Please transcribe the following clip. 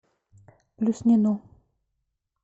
плюснину